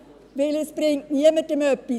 Es bringt niemandem etwas.